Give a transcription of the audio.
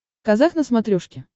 казах на смотрешке